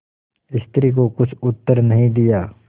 स्त्री को कुछ उत्तर नहीं दिया